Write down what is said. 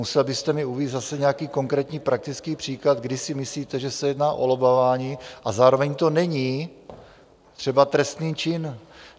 Musel byste mi uvést zase nějaký konkrétní praktický příklad, kdy si myslíte, že se jedná o lobbování a zároveň to není třeba trestný čin.